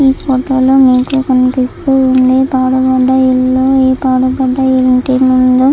ఈ ఫోటో లో మీకు కనిపిస్తుంది పాడుబడ్డ ఇల్లు. ఈ పాడుబడ్డ ఇంటి ముందు --